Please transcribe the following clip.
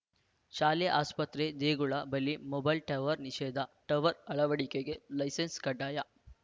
ಶಾಲೆ ಆಸ್ಪತ್ರೆ ದೇಗುಲ ಬಳಿ ಮೊಬೈಲ್‌ ಟವರ್ ನಿಷೇಧ ಟವರ್ ಅಳವಡಿಕೆಗೆ ಲೈಸೆನ್ಸ್‌ ಕಡ್ಡಾಯ